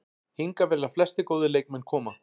Hingað vilja flestir góðir leikmenn koma.